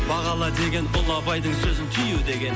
бағала деген ұлы абайдың сөзін түю деген